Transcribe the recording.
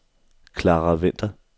Clara Winther